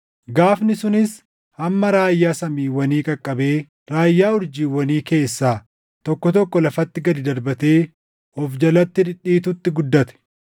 Gaafni sunis hamma raayyaa samiiwwanii qaqqabee raayyaa urjiiwwanii keessaa tokko tokko lafatti gad darbatee of jalatti dhidhiitutti guddate.